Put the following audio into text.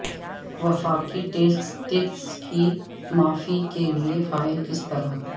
وفاقی ٹیکس کی معافی کے لئے فائل کس طرح